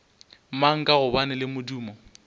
mang ka gobane le modumo